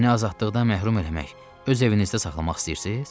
Məni azadlıqdan məhrum eləmək, öz evinizdə saxlamaq istəyirsiz?